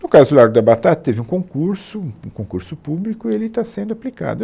No caso do Largo da Batata, teve um concurso, um concurso público, e ele está sendo aplicado.